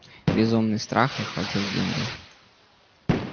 безумный страх охватил генри